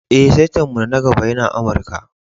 Eh, saita'n mu na gaba yana Amarka.